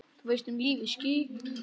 Þú veist, um lífið?